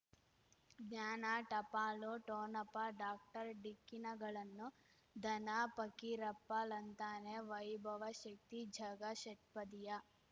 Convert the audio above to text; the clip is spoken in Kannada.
ಜ್ಞಾನ ಟಪಾಲು ಠೊಣಪ ಡಾಕ್ಟರ್ ಢಿಕ್ಕಿ ಣಗಳನು ಧನ ಫಕೀರಪ್ಪ ಳಂತಾನೆ ವೈಭವ ಶಕ್ತಿ ಝಗಾ ಷಟ್ಪದಿಯ